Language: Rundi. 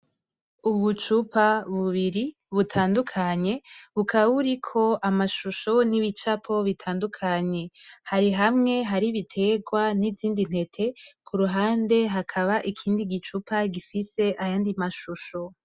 Ubucupa bubiri butandukanye bukaba buriko amashusho n'ibicapo bitandukanye hari hamwe hari ibiterwa n'izindi ntete kuruhande hakaba ikindi gicupa gifise ayandi mashusho.